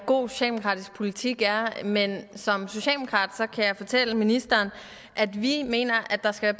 god socialdemokratisk politik er men som socialdemokrat kan jeg fortælle ministeren at vi mener at der skal